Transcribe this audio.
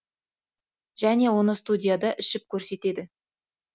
және оны студияда ішіп көрсетеді